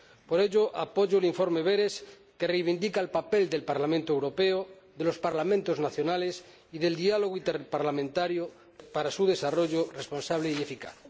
Por ello, apoyo el informe Berès, que reivindica el papel del Parlamento Europeo, de los Parlamentos nacionales y del diálogo interparlamentario para su desarrollo responsable y eficaz.